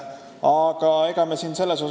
Me saame seda hiljem kontrollida.